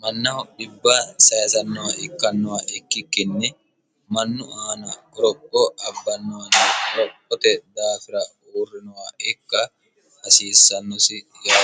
mannaho dhibba syisannoha ikkannoha ikkikkinni mannu aana goropho abbannohana qorophote daafira uurrinoha ikka hasiissannosi yaate.